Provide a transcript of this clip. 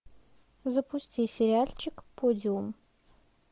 запусти сериальчик подиум